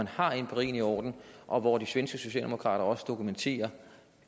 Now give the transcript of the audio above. har empirien i orden og hvor de svenske socialdemokrater også dokumenterer